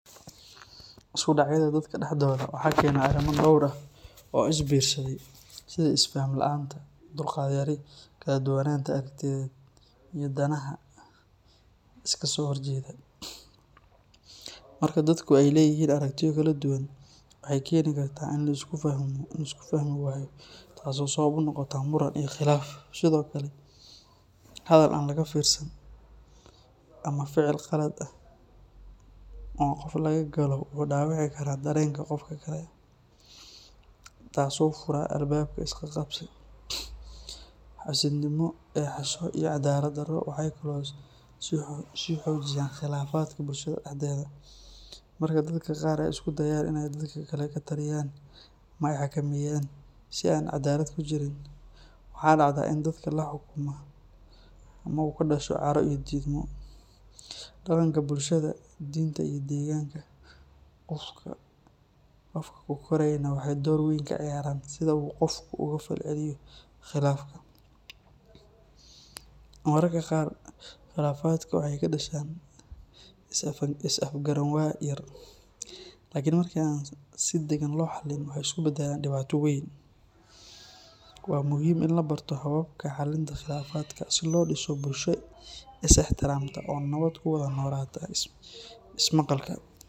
sku dhacyada dadka dhexdooda waxa keena arrimo dhowr ah oo isbiirsaday sida isfahan la’aanta, dulqaad yari, kala duwanaanta aragtiyeed, iyo danaha iska soo horjeeda. Marka dadku ay leeyihiin aragtiyo kala duwan, waxay keeni kartaa in la isku fahmi waayo, taasoo sabab u noqota muran iyo khilaaf. Sidoo kale, hadal aan laga fiirsan ama ficil qalad ah oo qof laga galo wuxuu dhaawici karaa dareenka qofka kale, taasoo fura albaabka isqabqabsi. Xaasidnimo, eexasho, iyo cadaalad darro waxay kaloo sii xoojiyaan khilaafaadka bulshada dhexdeeda. Marka dadka qaar ay isku dayaan in ay dadka kale ka taliyaan ama ay xakameeyaan si aan caddaalad ku jirin, waxa dhacda in dadka la xukuman uu ka dhasho caro iyo diidmo. Dhaqanka bulshada, diinta, iyo deegaanka qofka ku korayna waxay door weyn ka ciyaaraan sida uu qofku uga falceliyo khilaafka. Mararka qaar, khilaafaadka waxay ka dhashaan is afgaranwaa yar, laakiin marka aan si dagan loo xallin, waxay isu beddelaan dhibaato weyn. Waa muhiim in la barto hababka xallinta khilaafaadka si loo dhiso bulsho is ixtiraamta oo nabad ku wada noolaata. Is maqalka.